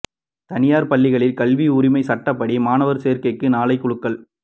தனியாா் பள்ளிகளில் கல்வி உரிமை சட்டப்படி மாணவா் சோ்க்கைக்கு நாளை குலுக்கல்